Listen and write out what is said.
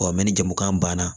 mɛ ni jamukan banna